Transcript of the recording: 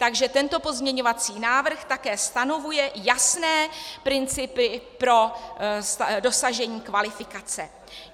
Takže tento pozměňovací návrh také stanovuje jasné principy pro dosažení kvalifikace.